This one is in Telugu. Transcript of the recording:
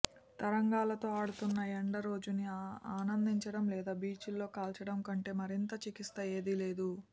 తరంగాలతో ఆడుతున్న ఎండ రోజుని ఆనందించడం లేదా బీచ్లో కాల్చడం కంటే మరింత చికిత్సా ఏదీ లేదు